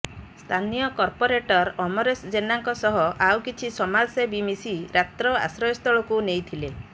ସ୍ଥାନୀୟ କର୍ପୋରେଟର ଅମରେଶ ଜେନାଙ୍କ ସହ ଆଉ କିଛି ସମାଜସେବୀ ମିଶି ରାତ୍ର ଆଶ୍ରୟ ସ୍ଥଳକୁ ନେଇଥିଲେ